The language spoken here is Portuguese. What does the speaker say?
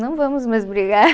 Não vamos mais brigar.